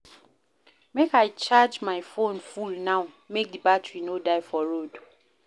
Make I charge my fone full now make di battery no die for road.